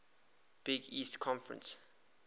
big east conference